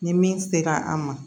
Ni min sera an ma